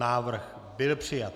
Návrh byl přijat.